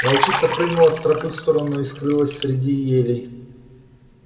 волчица прыгнула с тропы в сторону и скрылась среди елей